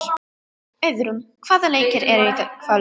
Auðrún, hvaða leikir eru í kvöld?